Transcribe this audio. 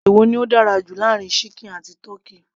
èwo ni ó dára jù láàárin ṣíkìn àti tọ́kì